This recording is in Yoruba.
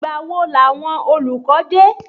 Ìgbà wo làwọn olùkọ́ dé?